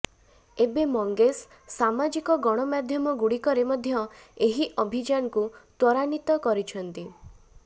ଏବେ ମଙ୍ଗେସ୍ ସାମାଜିକ ଗଣମାଧ୍ୟମଗୁଡ଼ିକରେ ମଧ୍ୟ ଏହି ଅଭିଯାନକୁ ତ୍ୱରାନ୍ବିତ କରିଛନ୍ତି